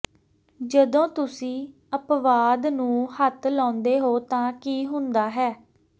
ਜਦੋਂ ਤੁਸੀਂ ਅਪਵਾਦ ਨੂੰ ਹੱਥ ਲਾਉਂਦੇ ਹੋ ਤਾਂ ਕੀ ਹੁੰਦਾ ਹੈ